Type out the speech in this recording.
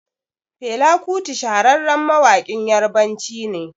Fela kuti shahararren mawaƙin yarbanci ne